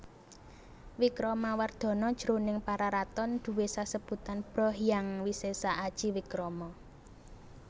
Wikramawardhana jroning Pararaton duwé sesebutan Bhra Hyang Wisesa Aji Wikrama